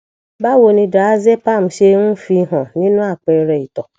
báwo ni diazepam ṣe ń fi hàn nínú àpẹẹrẹ ìto